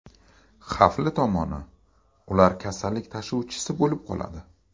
Xavfli tomoni, ular kasallik tashuvchisi bo‘lib qoladi.